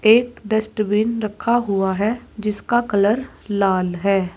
एक डस्टबिन रखा हुआ है जिसका कलर लाल है।